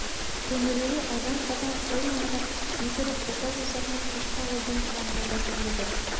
төңірегі азан-қазан қой маңырап ит үріп бота боздаған кешкі ауылдың даңғаза тірлігі